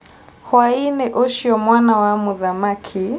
Hwaĩinĩ ũcio mwana wa mũthamaki